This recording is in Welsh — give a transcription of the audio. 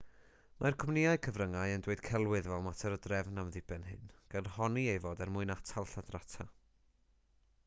mae'r cwmnïau cyfryngau yn dweud celwydd fel mater o drefn am ddiben hyn gan honni ei fod er mwyn atal lladrata